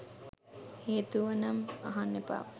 හේතුවනම් අහන්න එපා.